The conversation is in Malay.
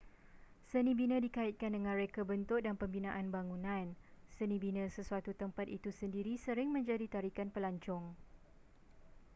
senibina dikaitkan dengan reka bentuk dan pembinaan bangunan seni bina sesuatu tempat itu sendiri sering menjadi tarikan pelancong